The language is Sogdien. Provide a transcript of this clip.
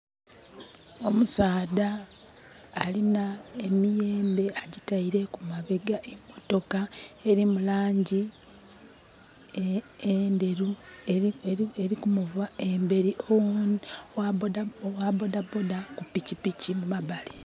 Omusaadha alina emiyembe ajitaire ku mabega. Emotoka erimu langi enderu erikumuva emberi, owa bodaboda ku pikipiki mu mabali